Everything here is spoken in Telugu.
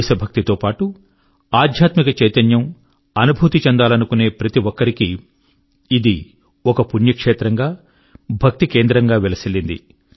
దేశభక్తి తో పాటు ఆధ్యాత్మిక చైతన్యము అనుభూతి చెందాలనుకొనే ప్రతి ఒక్కరి కీ ఇది ఒక పుణ్యక్షేత్రం గా భక్తి కేంద్రం గా విలసిల్లింది